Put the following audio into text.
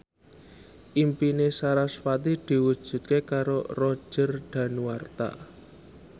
impine sarasvati diwujudke karo Roger Danuarta